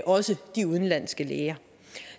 også de udenlandske læger